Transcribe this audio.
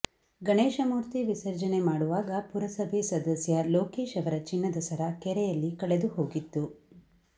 ಗಣೇಶ ಮೂರ್ತಿ ವಿಸರ್ಜನೆ ಮಾಡುವಾಗ ಪುರಸಭೆ ಸದಸ್ಯ ಲೋಕೇಶ್ ಅವರ ಚಿನ್ನದ ಸರ ಕೆರೆಯಲ್ಲಿ ಕಳೆದುಹೋಗಿತ್ತು